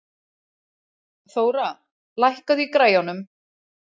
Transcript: Þóra, lækkaðu í græjunum.